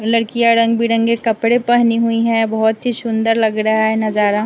लड़कियां रंग बिरंगे कपड़े पहनी हुई है बहुत ही सुंदर लग रहा है नजारा।